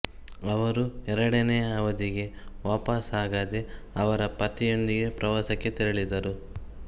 ಅವರು ಎರಡನೆಯ ಅವಧಿಗೆ ವಾಪಾಸಾಗದೆ ಅವರ ಪತಿಯೊಂದಿಗೆ ಪ್ರವಾಸಕ್ಕೆ ತೆರಳಿದರು